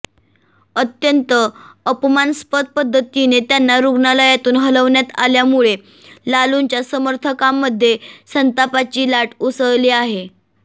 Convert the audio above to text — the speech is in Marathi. अत्यंत अपमानास्पद पध्दतीने त्यांना रुग्णालयातून हलवण्यात आल्यामुळे लालूंच्या समर्थकांमध्ये संतापाची लाट उसळली आहे